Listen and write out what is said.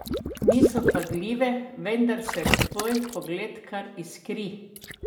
Niso vpadljive, vendar se tvoj pogled kar iskri!